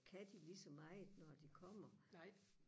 kan de lige så meget når de kommer